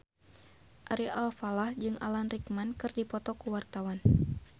Ari Alfalah jeung Alan Rickman keur dipoto ku wartawan